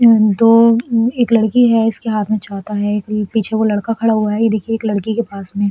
अम तो एक लड़की है। इसके हाथ में छाता है। एक पीछे वो लडक खड़ा हुआ है ये देखिये एक लड़की के पास में --